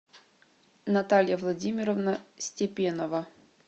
наталья владимировна степенова